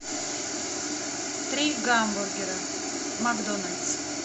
три гамбургера макдональдс